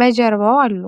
በጀርባው አሉ፡፡